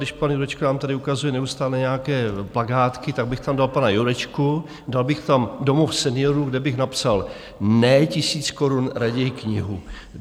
Když pan Jurečka nám tady ukazuje neustále nějaké plakátky, tak bych tam dal pana Jurečku, dal bych tam domov seniorů, kde bych napsal: Ne tisíc korun, raději knihu.